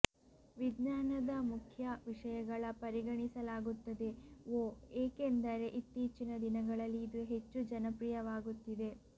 ವಿಜ್ಞಾನದ ಮುಖ್ಯ ವಿಷಯಗಳ ಪರಿಗಣಿಸಲಾಗುತ್ತದೆ ಒ ಏಕೆಂದರೆ ಇತ್ತೀಚಿನ ದಿನಗಳಲ್ಲಿ ಇದು ಹೆಚ್ಚು ಜನಪ್ರಿಯವಾಗುತ್ತಿದೆ